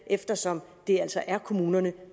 eftersom det altså er kommunerne